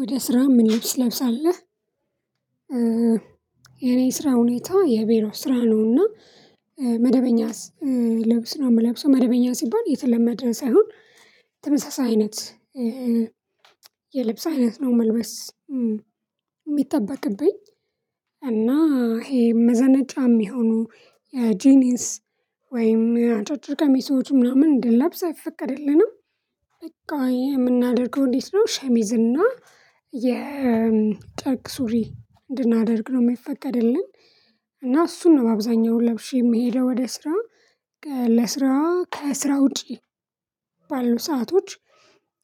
ወደ ስራ ምን ልብስ ለብሳለህ? የኔ ስራ ሁኔታ የቢሮ ስራ ነውና። መደበኛ ልብስ ነው የምለብሰው መደበኛ ሲባል የተለመደ ሳይሆን ተመሳሳይ አይነት የልብስ አይነት ነው መልበስ። የሚጠበቅብኝ እና ይሄ መዘነጫ የሚሆኑ የጂኒስ ወይም አጫጭር ቀሚሶች ምናምን እንድንለብስ አይፈቀድልንም። በቃ የምናደርገው እንዴት ነው ሸሚዝና እና የጨርቅ ሱሪ እንድናደርግ ነው የሚፈቀደልን። እና እሱን ነው በአብዛኛው ለብሼ የምሄደው ወደ ስራ። ለስራ ከስራ ውጪ ባሉ ሰአቶች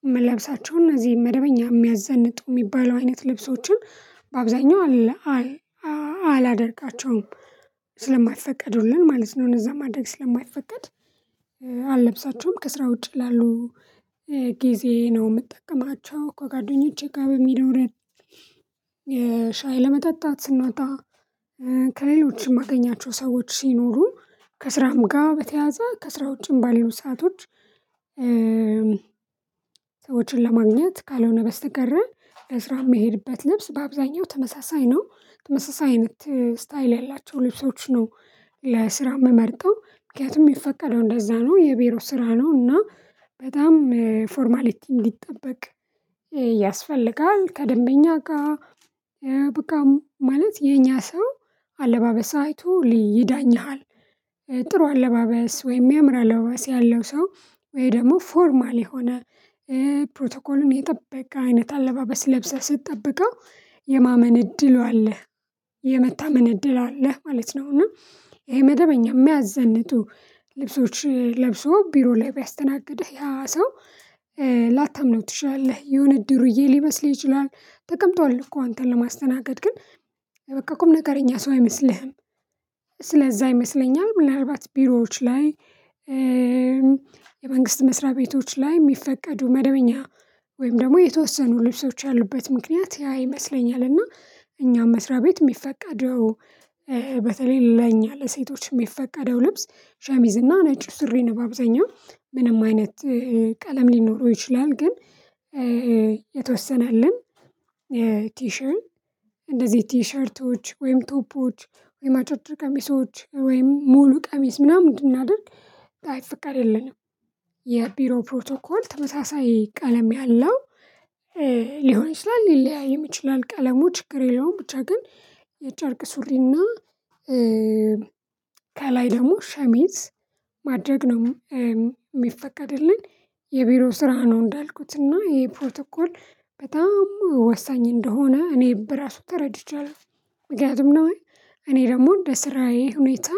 የምለብሳቸውን እነዚህን መደበኛ የሚያዘንጡ የሚባለው አይነት ልብሶችን በአብዛኛው አለ አላደርጋቸውም ስለማይፈቀዱልን ማለት ነው። እዛ ማድረግ ስለማይፈቀድ አልለብሳቸውም ከስራ ውጪ ላሉ ጊዜ ነው የምጠቀማቸው ከጓደኞቼ ጋር በሚኖረን ሻይ ለመጠጣት ስንወጣ ከሌሎች የማገኛቸው ሰዎች ሲኖሩ ከስራም ጋር በተያያዘ ከስራው ውጪም ባሉት ሰአቶች። ሰዎችን ለማግኘት ካልሆነ በስተቀር በስራ የሚሄድበት ልብስ በአብዛኛው ተመሳሳይ ነው ተመሳሳይ አይነት ስታይል ያላቸው ልብሶች ነው። ለስራ የምመርጠው ምክንያቱም ሚፈቀደው እንደዛ ነው የቢሮ ስራ ነው እና በጣም ፎርማሊቲ እንዲጠበቅ። ከደንበኛ ጋር በቃ ማለት የኛ ሰው አለባበስ አይቶ ሊ ይዳኝሀል ጥሩ አለባበስ ወይም ሚያምረሰ አለባበስ ያለው ሰው ወይ ደግሞ ፎርማል የሆነ ፕሮቶኮልን የጠበቀ አይነት አለባበስ ለብሰህ ስትጠብቀው የማመን እድሉ አለህ የመታመን እድሉ አለህ ማለት ነው። እና ይሄ መደበኛ የሚያዘንጡ ልብሶች ለብሶ ቢሮ ላይ ቢያስተናግድህ ያ ሰው ላታምነው ትችላለህ የሆነ ድርዬ ሊመስል ይችላል ተቀምጧል እኮ አንተን ለማስተናገድ ግን በቃ ቁም ነገኛ ሰው አይመስልህም። አይመሰለኝም ምናልባት ቢሮዎች ላይ የመንግስት መስሪያ ቤቶች ላይ የሚፈቀዱ መደበኛ ወይም ደግሞ የተወሰኑ ልብሶች ያሉበት ምክንያት ያ ይመስለኛልና እኛም መስሪያ ቤት የሚፈቀደው በተለይ ለኛ ለሴቶች የሚፈቀደው ልብስ ሸሚዝ እና ነጭ ሱሪ ነው። በአብዛኛው ምንም አይነት ቀለም ሊኖረው ይችላል ግን የተወሰነልን ቲሸን እንደዚህ ቲሸርቶች ወይም ቶፖች ወይም አጫጭች ቀሚሶች ወይም ሙሉ ቀሚስ ምናምን እንድናደርግ አይፈቀድልንም። የቢሮ ፕሮቶኮል ተመሳሳይ ቀለም ያለው ሊሆን ይችላል ሊለያይም ይችላል ቀለሙ ችግር የለውም ብቻ ግን የጨርቅ ሱሪና ከላይ ደግሞ ሸሚዝ ማድረግ ነው የሚፈቀድልን የቢሮ ስራ ነው። እንዳልኩት እና ይሄ ፕሮቶኮል በጣም ወሳኝ እንደሆነ እኔ በራሱ ተረድቻለሁ ምክንያቱም ነው እኔ ደግሞ እንደ ስራዬ ሁኔታ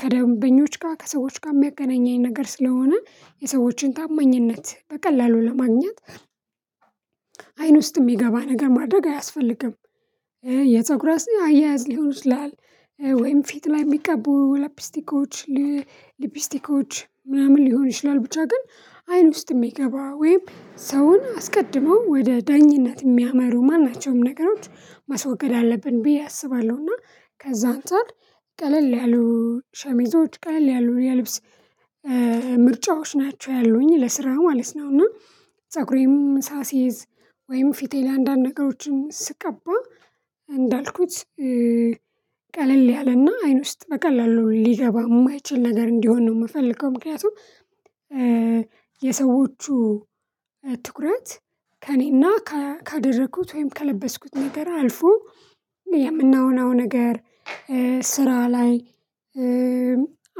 ከደንበኞች ጋር ከሰዎች ጋር የሚያገናኘኝ ነገር ስለሆነ የሰዎችን ታማኝነት በቀላሉ ለማግኘት አይን ውስጥ የሚገባ ነገር ማድረግ አያስፈልግም። የፀጉርም ራስ አያያዝ ሊሆን ይችላል ወይም ፊት ላይ የሚቀቡ ላፕስቲኮች ሊፕስቲኮች ምናምን ሊሆን ይችላል ብቻ ግን አይን ውስጥ የሚገባ ወይም ሰውን አስቀድመው ወደ ዳኝነት የሚያመሩ ማን ናቸውም ነገሮች ማስወገድ አለብን ብዬ አስባለሁና ከዛ አንተ ቀለል ቀለል ያሉ ሸሚዞች ቀለል ያሉ የልብስ ምርጫዎች ናቸው ያሉኝ ለስራ ማለት ነው። እና ፀጉሬም ሳስይዝ ወይም ፊቴ ላይ አንዳንድ ነገሮችን ስቀባ እንዳልኩት ቀለል ያለና አይን ውስጥ በቀላሉ ሊገባ የማይችል ነገር እንዲሆን ነው የምፈልገው ምክንያቱም የሰዎቹ ትኩረት ከእኔና ካደረኩት ወይም ከለበስኩት ነገር አልፎ የምንሆነው ነገር ስራ ላይ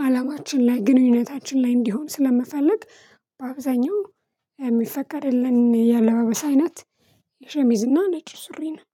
አላማችን ላይ ግንኙነታችን ላይ እንዲሆን ስለምፈልግ በአብዛኛው የሚፈቀድልን የአለባበስ አይነት የሸሚዝና ነጭ ሱሪን ነው